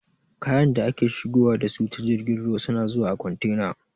Kayan da ake shigowa da su ta jirgin ruwa suna zuwa a kwantena